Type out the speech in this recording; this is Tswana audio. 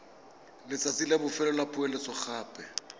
letsatsi la bofelo la poeletsogape